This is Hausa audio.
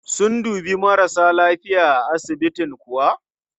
Sun dubi marasa lafiya a asibitin kuwa?